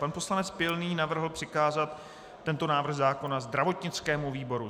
Pan poslanec Pilný navrhl přikázat tento návrh zákona zdravotnickému výboru.